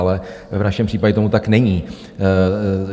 Ale v našem případě tomu tak není.